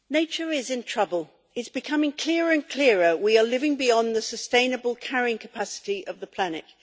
Mr President, nature is in trouble. It is becoming clearer and clearer we are living beyond the sustainable carrying capacity of the planet.